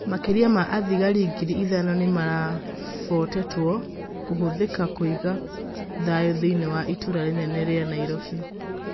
Makĩrĩa ma athigarĩ ngirĩ ithano nĩmarĩbotetwo kũhũthĩka kũiga thayũthĩiniĩ wa itũra rĩnene rĩa Naĩrobĩ.